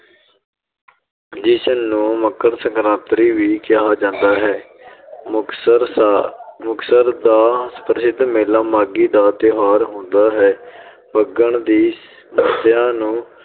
ਜਿਸ ਨੂੰ ਮਕਰ ਸਕਰਾਤਰੀ ਵੀ ਕਿਹਾ ਜਾਂਦਾ ਹੈ ਮੁਕਤਸਰ ਦਾ ਮੁਕਤਸਰ ਦਾ ਪ੍ਰਸਿਧ ਮੇਲਾ ਮਾਘੀ ਦਾ ਤਿਉਹਾਰਾ ਹੁੰਦਾ ਹੈ ਫੱਗਣ ਦੀ ਮੱਸਿਆ ਨੂੰ